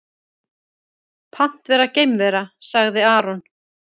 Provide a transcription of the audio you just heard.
Pant vera geimvera, sagði Aron.